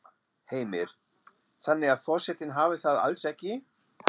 Heimir: Þannig að forsetinn hafi það alls ekki?